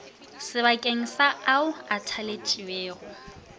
sebakeng sa ao a thaletšwego